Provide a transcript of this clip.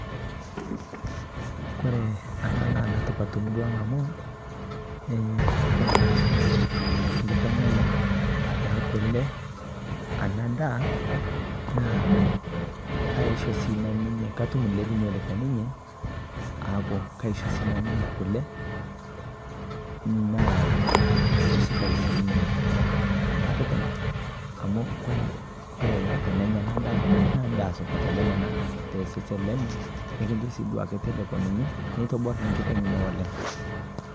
netipat amu kore paisho nkiteng aai anaa daa naa kaishoo sii nanuu nkitengai kulee kumoo. keitobor sii nkitengai ngamataa nalepii